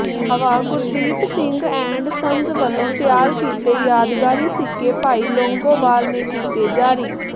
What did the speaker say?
Bawa Gurdeep Singh and sons ਵੱਲੋਂ ਤਿਆਰ ਕੀਤੇ ਯਾਦਗਾਰੀ ਸਿੱਕੇ ਭਾਈ ਲੌਂਗੋਵਾਲ ਨੇ ਕੀਤੇ ਜਾਰੀ